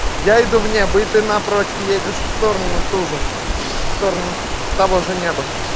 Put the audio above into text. я иду вне бы ты напротив едешь в сторону ту же в сторону того же неба